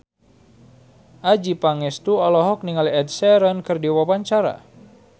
Adjie Pangestu olohok ningali Ed Sheeran keur diwawancara